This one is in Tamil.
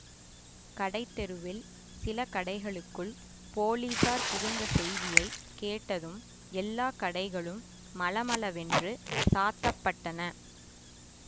கடைத்தெருவில் சில கடைகளுக்குள் போலீஸார் புகுந்த செய்தியை கேட்டதும் எல்லா கடைகளும் மளமளவென்று சாத்தப்பட்டன